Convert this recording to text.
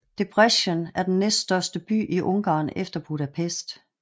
Debrecen er den næststørste by i Ungarn efter Budapest